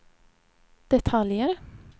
detaljer